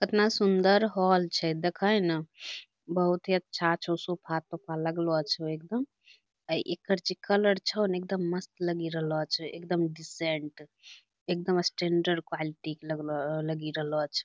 कतना सुंदर हाॅल छै देखे ना बहुत ही अच्छा छौ सोफा-तोफा लगलो छो एगदम ए एकर जे कलर छौ ने एगदम मस्त लगि रहलो छै एगदम डिसेन्ट एगदम स्टैण्डर्ड क्वालिटी के लगलो लगि रहलो छै।